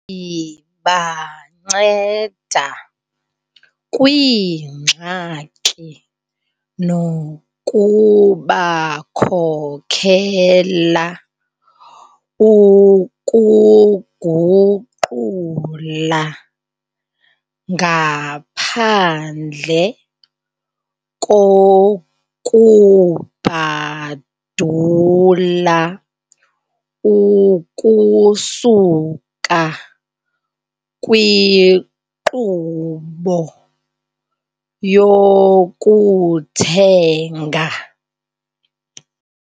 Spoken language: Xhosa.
Ibanceda kwiingxaki nokubakhokela ukuguqula ngaphandle kokubhadula ukusuka kwinkqubo yokuthenga.